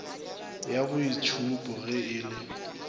ya boitšhupo ge e le